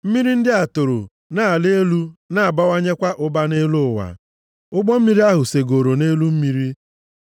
Mmiri ndị a toro na-ala elu na-abawanyekwa ụba nʼelu ụwa. Ụgbọ mmiri ahụ segooro nʼelu mmiri.